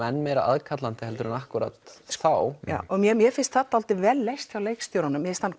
enn meira aðkallandi en akkúrat þá mér mér finnst það dálítið vel leyst hjá leikstjóranum mér finnst hann